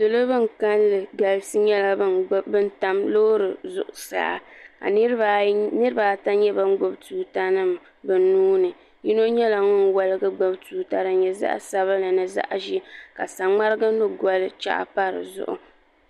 salo bin kanli galisi nyɛla bin tam loori zuɣusaa ka niraba ata nyɛ bin gbubi tuuta nim bi nuuni yino nyɛla woligi gbubi tuuta din nyɛ zaɣ sabinli mini zaɣ ʒiɛ ka saŋmarigi ni goli pa dizuɣu